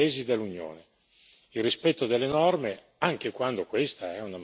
Il fisco è diventato strumento di concorrenza tra i paesi dell'Unione.